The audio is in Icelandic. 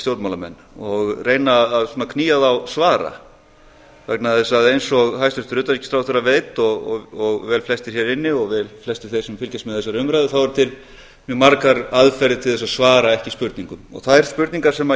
stjórnmálamenn og reyna að knýja þá svara vegna þess að eins og hæstvirtur utanríkisráðherra veit og velflestir hér inni og flestir þeir sem fylgjast með þessari umræðu þá eru til mjög margar aðferðir til að svara ekki spurningum þær spurningar sem